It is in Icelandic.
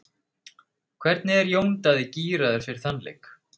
Hvernig er Jón Daði gíraður fyrir þann leik?